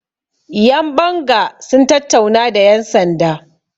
yanbanga sun tattauna da yansanda